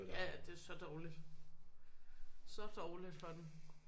Ja ja det er så dårligt så dårligt for den